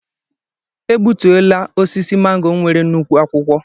E gbutuola osisi màngò nwere nnukwu akwụkwọ